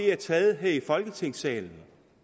er taget her i folketingssalen